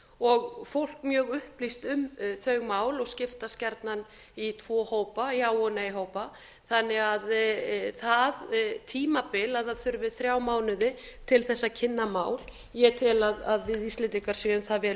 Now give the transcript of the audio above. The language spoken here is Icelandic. og fólk mjög upplýst um þau mál og skiptast gjarnan í tvo hópa já og nei hópa þannig að það tímabil að það þurfi fá mánuði til þess að kynna mál ég tel að við íslendingar séum það vel